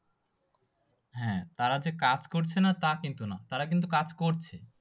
হ্যাঁ তারা যে কাজ করছে না তা কিন্তু নয়, তারা কিন্তু কাজ করছে।